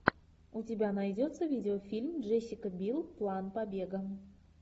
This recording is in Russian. у тебя найдется видеофильм джессика билл план побега